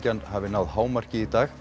hafi náð hámarki í dag